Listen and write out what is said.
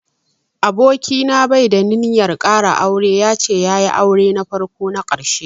Aboki na bai da ninyar ƙara aure, ya ce ya yi aure na farko na ƙarshe.